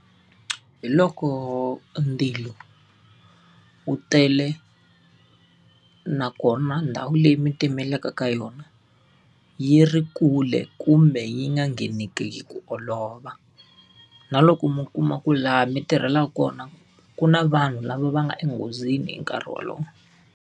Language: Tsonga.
Hi loko ndzilo wu tele nakona ndhawu leyi mi timelaka ka yona, yi ri kule kumbe yi nga ngheneki hi ku olova. Na loko mi kuma ku laha mi tirhelaka, kona ku na vanhu lava va nga enghozini hi nkarhi wolowo.